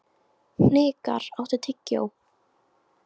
Hnikar, áttu tyggjó?